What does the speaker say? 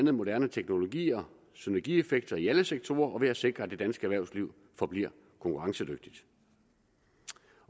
af moderne teknologier synergieffekter i alle sektorer og ved at sikre at det danske erhvervsliv forbliver konkurrencedygtigt